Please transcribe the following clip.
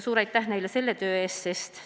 Suur aitäh neile selle töö eest!